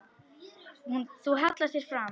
Þú hallar þér fram.